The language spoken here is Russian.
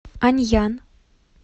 аньян